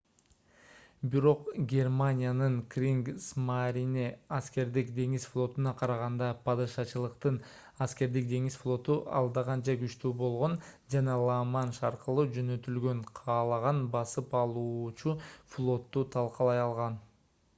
бирок германиянын кригсмарине аскердик деңиз флотуна караганда падышачылыктын аскердик деңиз флоту алда канча күчтүү болгон жана ла-манш аркылуу жөнөтүлгөн каалаган басып алуучу флотту талкалай алган